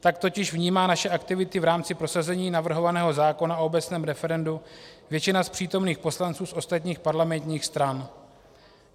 Tak totiž vnímá naše aktivity v rámci prosazení navrhovaného zákona o obecném referendu většina z přítomných poslanců z ostatních parlamentních stran.